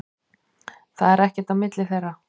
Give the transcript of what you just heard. Það er ekkert á milli þeirra.